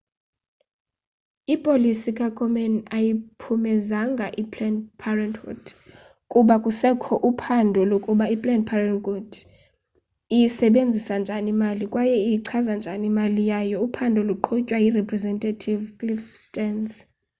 ipolisi kakomen ayiyiphumezanga iplanned parenthood kuba kusekho uphando lokuba i planned parenthood iyisebenzisa njani imali kwaye iyichaza njani imali yayo uphando luqhutywa yirepresentative cliff stearns